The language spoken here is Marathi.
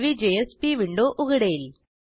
नवी JSPविंडो उघडेल